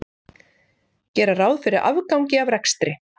Gera ráð fyrir afgangi af rekstri